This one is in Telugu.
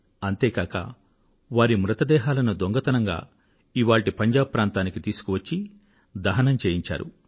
అంతే కాక వారి మృతదేహాలను దొంగతనంగా ఇవాళ్టి పంజాబ్ ప్రాంతానికి తీసుకువచ్చి దహనం చేయించారు